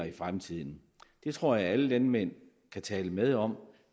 i fremtiden det tror jeg alle landmænd kan tale med om